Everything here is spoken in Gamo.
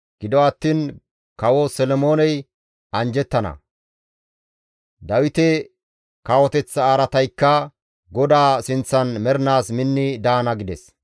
Gido attiin Kawo Solomooney anjjettana; Dawite kawoteththa araataykka GODAA sinththan mernaas minni daana» gides.